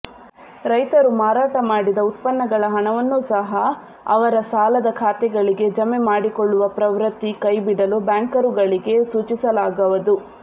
ರೈತರು ಮಾರಾಟ ಮಾಡಿದ ಉತ್ಪನ್ನಗಳ ಹಣವನ್ನೂ ಸಹ ಅವರ ಸಾಲದ ಖಾತೆಗಳಿಗೆ ಜಮೆ ಮಾಡಿಕೊಳ್ಳುವ ಪ್ರವೃತ್ತಿ ಕೈಬಿಡಲು ಬ್ಯಾಂಕರುಗಳಿಗೆ ಸೂಚಿಸಲಾಗುವದು